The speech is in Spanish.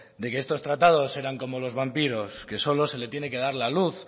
de que estos tratados eran como los vampiros que solo se le tiene que dar la luz